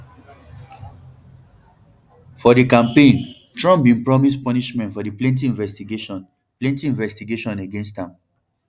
for di campaign trump bin promise punishments for di plenti investigation plenti investigation against am